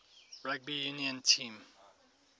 rugby union team